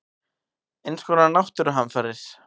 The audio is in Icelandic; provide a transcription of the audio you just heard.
Eins konar náttúruhamfarir.